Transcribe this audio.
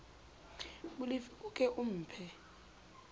molefi o ke o mphe